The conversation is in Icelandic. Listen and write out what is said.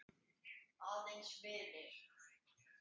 Aðeins vinir.